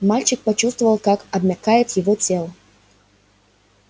мальчик почувствовал как обмякает его тело